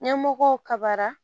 Ɲɛmɔgɔ kabara